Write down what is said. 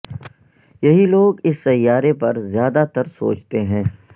یہی لوگ اس سیارے پر زیادہ تر سوچتے ہیں